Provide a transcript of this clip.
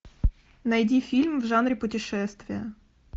найди фильм в жанре путешествия